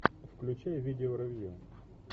включай видео ревью